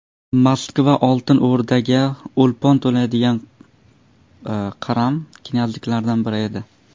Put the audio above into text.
Moskva Oltin O‘rdaga o‘lpon to‘laydigan qaram knyazliklardan biri edi.